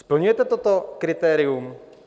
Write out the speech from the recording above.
Splňujete toto kritérium?